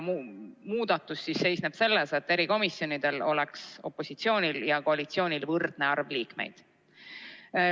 Muudatus seisneb selles, et erikomisjonides oleks opositsioonil ja koalitsioonil võrdne arv liikmeid.